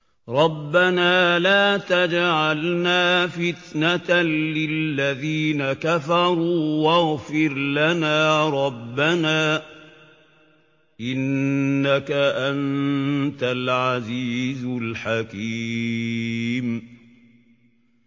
رَبَّنَا لَا تَجْعَلْنَا فِتْنَةً لِّلَّذِينَ كَفَرُوا وَاغْفِرْ لَنَا رَبَّنَا ۖ إِنَّكَ أَنتَ الْعَزِيزُ الْحَكِيمُ